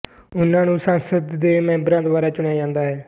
ਉਹਨਾਂ ਨੂੰ ਸੰਸਦ ਦੇ ਮੈਬਰਾਂ ਦੁਆਰਾ ਚੁਣਿਆ ਜਾਂਦਾ ਹੈ